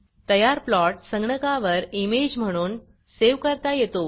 तयार प्लॉट संगणकावर इमेज म्हणून सेव्ह करता येतो